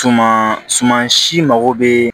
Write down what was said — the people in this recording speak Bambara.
Tuma suman si mago bɛ